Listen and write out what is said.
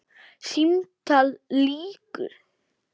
Símtali lýkur.